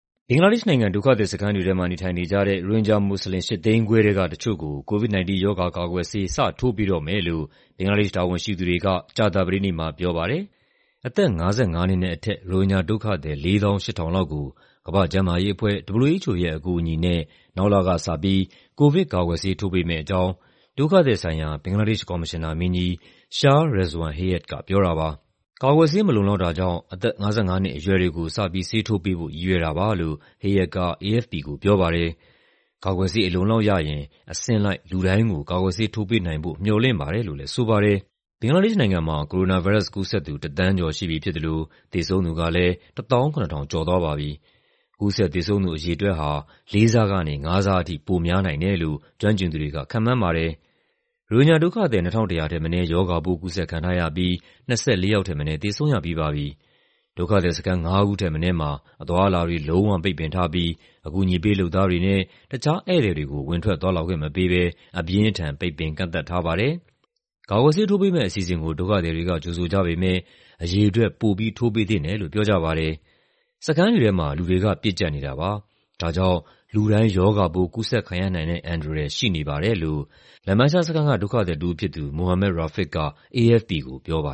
ဘင်္ဂလားဒေ့ရှ်နိုင်ငံ ဒုက္ခသည်စခန်းတွေထဲမှာ နေထိုင်နေကြတဲ့ ရိုဟင်ဂျာမွတ်စလင် ၈၅၀,၀၀၀ ထဲက တချို့ကို COVID-19 ရောဂါကာကွယ်ဆေး စထိုးပေးတော့မယ်လို့ ဘင်္ဂလားဒေ့ရှ် တာဝန်ရှိသူတွေက ကြာသပတေးနေ့မှာ ပြောပါတယ်။ အသက် ၅၅ နှစ်နဲ့အထက် ရိုဟင်ဂျာဒုက္ခသည် ၄၈,၀၀၀ လောက်ကို ကမ္ဘာ့ကျန်းမာရေးအဖွဲ့ (WHO) ရဲ့ အကူအညီနဲ့ နောက်လကစပြီး ကိုဗစ်ကာကွယ်ဆေး ထိုးပေးမယ့်အကြောင်း ဒုက္ခသည်ဆိုင်ရာ ဘင်္ဂလားဒေ့ရှ် ကော်မရှင်နာမင်းကြီး Shah Rezwan Hayat က ပြောတာပါ။ "ကာကွယ်ဆေး မလုံလောက်တာကြောင့် အသက် ၅၅ နှစ်အရွယ်တွေကို ဆေးထိုးပေးဖို့ ရည်ရွယ်တာပါ" လို့ Hayat က AFP ကို ပြောပါတယ်။ "ကာကွယ်ဆေး အလုံအလောက်ရရင် အဆင့်လိုက် လူတိုင်းကို ကာကွယ်ဆေး ထိုးပေးနိုင်ဖို့ မျှော်လင့်ပါတယ်" လို့လည်း ဆိုပါတယ်။ ဘင်္ဂလားဒေ့ရှ်နိုင်ငံမှာ ကိုရိုနာဗိုင်းရပ်စ် ကူးစက်သူ တသန်းကျော်ရှိပြီဖြစ်သလို သေဆုံးသူကလည်း ၁၇,၀၀၀ ကျော်သွားပါပြီ။ ကူးစက် သေဆုံးသူ အရေအတွက်ဟာ လေးဆကနေ ငါးဆအထိ ပိုများနိုင်တယ်လို့ ကျွမ်းကျင်သူတွေက ခန့်မှန်းပါတယ်။ ရိုဟင်ဂျာဒုက္ခသည် ၂,၁၀၀ ထက်မနည်း ရောဂါပိုး ကူးစက်ခံထားရပြီး ၂၄ ယောက်ထက်မနည်း သေဆုံးရပြီးပါပြီ။ ဒုက္ခသည်စခန်း ငါးခုထက်မနည်းမှာ အသွားအလာတွေ လုံးဝပိတ်ပင်ထားပြီး အကူအညီပေး လုပ်သားတွေနဲ့ တခြားဧည့်သည်တွေကို ဝင်ထွက်သွားလာခွင့်မပေးဘဲ အပြင်းအထန် ပိတ်ပင်ကန့်သတ်ထားပါတယ်။ ကာကွယ်ဆေးထိုးပေးမယ့် အစီအစဉ်ကို ဒုက္ခသည်တွေက ကြိုဆိုကြပေမယ့် အရေအတွက် ပိုပြီး ထိုးပေးသင့်တယ်လို့ ပြောကြပါတယ်။ "စခန်းတွေထဲမှာ လူတွေက ပြည့်ကျပ်နေတာပါ။ ဒါကြောင့် လူတိုင်း ရောဂါပိုး ကူးစက်ခံရနိုင်တဲ့ အန္တရာယ် ရှိနေပါတယ်" လို့ Lambasia စခန်းက ဒုက္ခသည်တဦးဖြစ်သူ Mohammad Rafiq က AFP ကို ပြောပါ